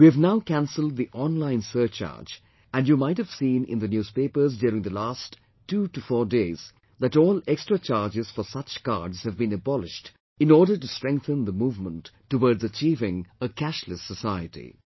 We have now cancelled the online surcharge and you might have seen in the newspapers during last 24 days that all extra charges for such cards have been abolished in order to strengthen the movement towards achieving a 'cashless society'